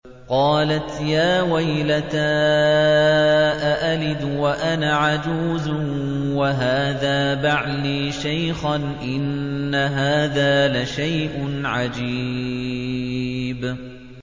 قَالَتْ يَا وَيْلَتَىٰ أَأَلِدُ وَأَنَا عَجُوزٌ وَهَٰذَا بَعْلِي شَيْخًا ۖ إِنَّ هَٰذَا لَشَيْءٌ عَجِيبٌ